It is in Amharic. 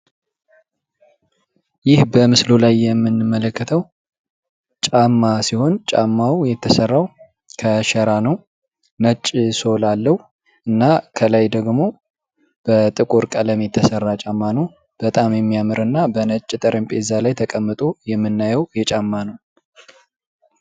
ይህ በምስሉ ላይ የምንመለከተው ጫማ ሲሆን፤ ጫማው የተሠራው ከሸራ ነው። ነጭ ሶል አለው እና ከላይ ደግሞ በጥቆር ቀለም የተሠራ ጫማ ነው። በጣም የሚያምር እና በነጭ ጠርምጴዛ ላይ ተቀምጦ የምናየው የጫማ ነው።